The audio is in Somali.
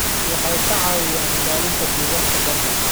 Waxay ka caawiyaan ilaalinta deegaanka badda.